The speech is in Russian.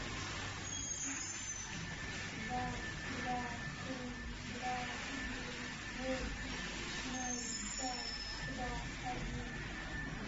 два два семь два девять восемь ноль пять два один